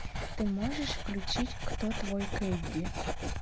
ты можешь включить кто твой кэнди